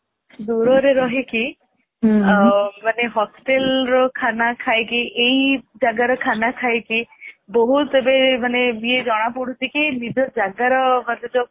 ଦୂରରେ ରହିକି ମାନେ hostel ର ଖାନା ଖାଇକି ଇଏ ଜଗର ଖାନା ଖାଇକି ବହୁତ ଏବେ ଇଏ ଜଣା ପଡୁଛି କି ନିଜ ଜଗର ମାନେ ଯୋଉ